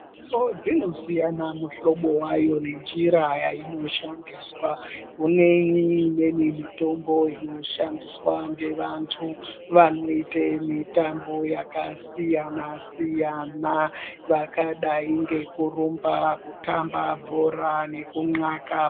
So dzinosiyana mihlobo wayo nenjira yainoshandiswa kuneni imweni mitombo inoshandiswa ngevantu vanoite mitambo yakasiyana siyana vakadai ngekurumba kutamba bhora nekunlaka.